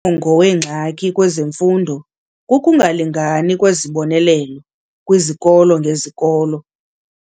mongo wengxaki kwezemfundo kukungalingani kwezibonelelo kwizikolo ngezikolo.